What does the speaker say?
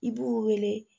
I b'u wele